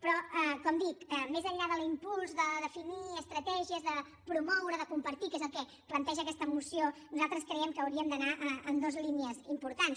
però com dic més enllà de l’impuls de definir estratègies de promoure de compartir que és el que planteja aquesta moció nosaltres creiem que hauríem d’anar en dues línies importants